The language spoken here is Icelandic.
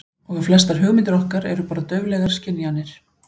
Og að flestar hugmyndir okkar eru bara dauflegar skynjanir.